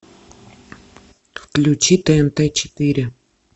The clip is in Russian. включи тнт четыре